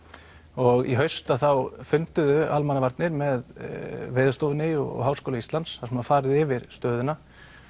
og í haust þá funduðu Almannavarnir með Veðurstofunni og Háskóla Íslands þar farið yfir stöðuna